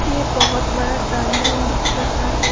ये बहुत बड़ाड्राइंगरूम रूम दिख रहा है।